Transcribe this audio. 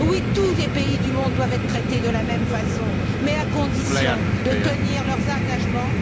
Oui, tous les pays du monde doivent être traités de la même façon, mais à condition de tenir leurs engagements.